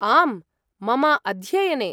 आम्, मम अध्ययने।